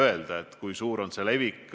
Me ei tea, kui suur on selle levik.